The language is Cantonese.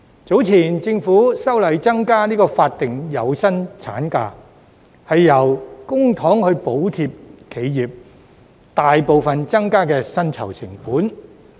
早前，政府修例增加法定有薪產假，用公帑補貼企業，以抵銷大部分所增加的薪酬成本。